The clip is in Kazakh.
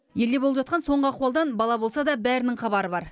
елде болып жатқан соңғы ахуалдан бала болса да бәрінің хабары бар